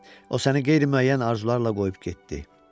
O səni qeyri-müəyyən arzularla qoyub getdi.